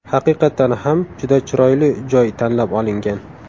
Haqiqatdan ham juda chiroyli joy tanlab olingan.